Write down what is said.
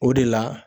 O de la